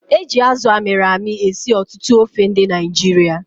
Eji Azụ amịrị amị esi ọtụtụ ofe ndị Naịjirịa